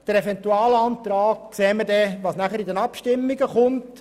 Beim Eventualantrag sehen wir es, wenn er zur Abstimmung kommt.